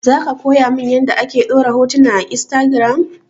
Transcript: Zaka koya mun yanda ake ɗora hotuna a instagiram?